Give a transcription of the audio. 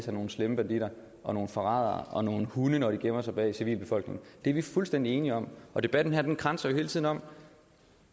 er nogle slemme banditter og nogle forrædere og nogle hunde når de gemmer sig bag civilbefolkningen det er vi fuldstændig enige om debatten her kredser jo hele tiden om